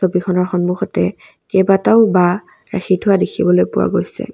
ছবিখনৰ সন্মুখতে কেইবাটাও বাঁহ ৰাখি থোৱা দেখিবলৈ পোৱা গৈছে।